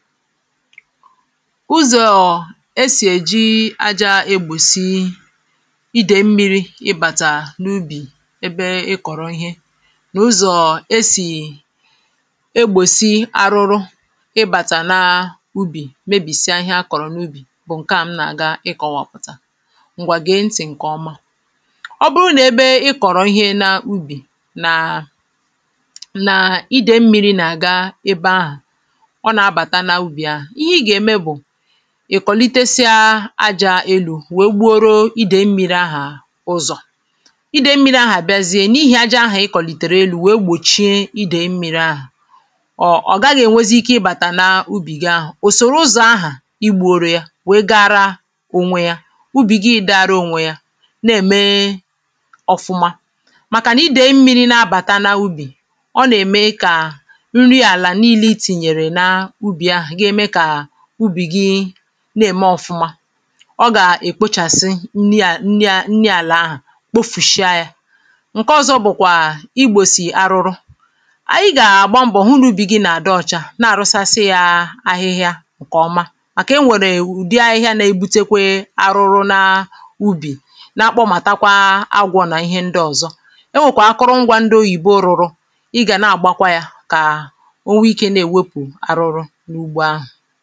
ụzọ̀ esì èji àjȧ egbòsi idè mmi̇ri̇ ịbàtà n’ubì ebe ị kọ̀rọ̀ ihe na ụzọ̀ esì egbòsi arụrụ ịbàtà naa ubì mebìsịa ihe a kọ̀rọ̀ n’ubì bụ̀ ǹkẹ̀ a m nà-aga ị kọ̀wàpụ̀tà ǹgwàgèe nà-ntì ǹkẹ̀ ọma ọ bụrụ nà ebe ị kọ̀rọ̀ ihe naa ubì nàa nà idè mmi̇ri̇ nà-aga ebe ahụ̀ ì kòliteya aja elu̇ wèe gbuoro idè mmiri ahà ụzọ̀ idè mmiri ahà bịazie n’ihì aja ahà ịkọ̀lìtèrè elu̇ wèe gbòchie idè mmiri ahà ọ ọ̀ gaghị̇ ènwezi ike ịbàtà na ubì gi ahà, òsòrò ụzọ̀ ahà igbu̇ orù ya, wèe gara ònwe ya ubì gi idė ara ònwe ya na-ème ọfụma màkànà idè mmiri na-abàta na ubì ọ nà-ème kà na-ème ọ̀fụma ọ gà-èkpochàsị nni ànị àlà ahụ̀ kpofùshịa yȧ ǹke ọzọ bụ̀kwà igbòsì arụrụ ànyị gà-àgba mbọ̀ hụ nà ubì gị nà-àdị ọ̀chà na-àrụsasị yȧ ahịhịa ǹkè ọma màkà enwèrè ùdi ahịhịa nȧ-ebutekwe arụrụ na ubì na-akpọmàtakwa agwọ̇ nà ihe ndị ọ̀zọ enwèkwa akụrụngwȧ ndị oyìbo rụrụ ịgà na-àgbakwa yȧ kà ha ha ha